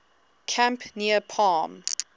camp near palm